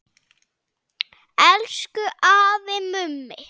Elsku afi Mummi.